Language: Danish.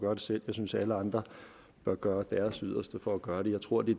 gøre det selv og jeg synes alle andre bør gøre deres yderste for at gøre det jeg tror det